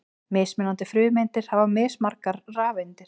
Mismunandi frumeindir hafa mismargar rafeindir.